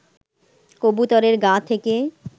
কবুতরের গা থেকে